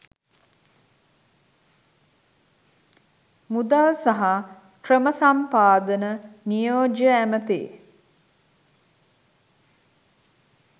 මුදල් සහ ක්‍රම සම්පාදන නියෝජ්‍ය ඇමැති